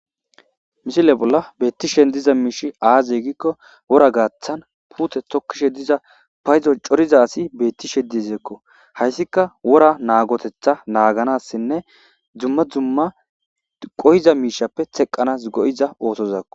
Mishile bolla bettishen diza miishi aaze gikko wora gaaththan puute tokkishe diza payzo coriza asi beettishe dizeekko hayssika wora naagotetha naaganassinne dzumma dzumma qoyiza miishappe teqqanas go'iza ootozakko.